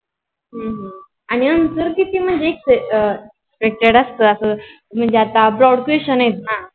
हम्म हम्म आणि Answer किती म्हणजे Expected आसतो. अस म्हणजे आता brod question आहेत ना?